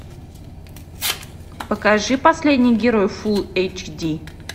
покажи последний герой фул эйч ди